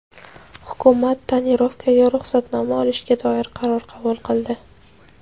Hukumat "tonirovka"ga ruxsatnoma olishga doir qaror qabul qildi.